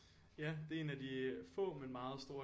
Ja det er en af de få meget meget store